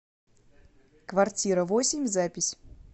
квартира восемь запись